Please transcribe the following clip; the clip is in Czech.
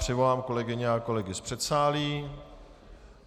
Přivolám kolegyně a kolegy z předsálí.